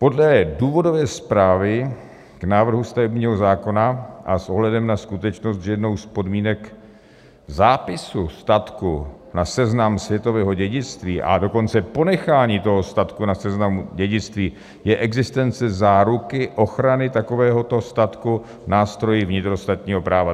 Podle důvodové zprávy k návrhu stavebního zákona a s ohledem na skutečnost, že jednou z podmínek zápisu statku na Seznam světového dědictví, a dokonce ponechání toho statku na Seznamu dědictví, je existence záruky ochrany takovéhoto statku nástroji vnitrostátního práva.